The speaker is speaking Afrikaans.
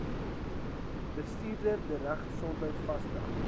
bestuurder dieregesondheid vasstel